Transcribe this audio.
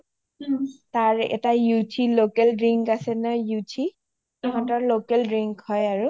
তাৰ এটা yoshi local drink আছে নহয় yoshi তাহাতৰ local drink হয় আৰু